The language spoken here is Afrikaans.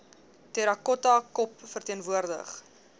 terracotta kop verteenwoordig